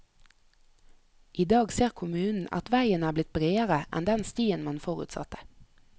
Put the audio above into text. I dag ser kommunen at veien er blitt bredere enn den stien man forutsatte.